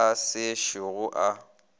yo a se šogo a